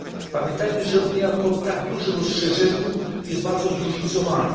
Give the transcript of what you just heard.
Pamiętajmy o tym, że Unia po tak dużym rozszerzeniu jest bardzo zróżnicowana.